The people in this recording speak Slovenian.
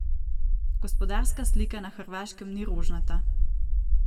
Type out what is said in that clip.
Gospodarska slika na hrvaškem ni rožnata.